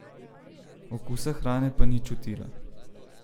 Okusa hrane pa ni čutila.